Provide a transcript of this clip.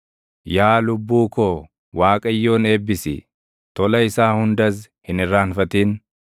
Yaa lubbuu koo Waaqayyoon eebbisi; tola isaa hundas hin irraanfatin.